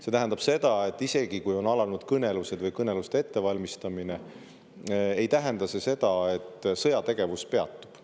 See tähendab seda, et isegi kui on alanud kõnelused või kõneluste ettevalmistamine, ei tähenda see seda, et sõjategevus peatub.